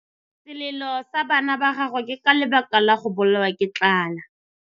Selelô sa bana ba gagwe ke ka lebaka la go bolawa ke tlala.